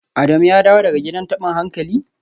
Adamu ya dawo daga gidan tabin hankali?